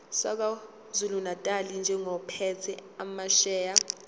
sakwazulunatali njengophethe amasheya